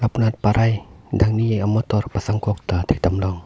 lapunat parai dangni amotor pasang kok ta thekdamlong.